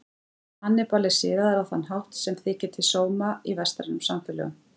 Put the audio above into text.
Hannibal er siðaður á þann hátt sem þykir til sóma í vestrænum samfélögum.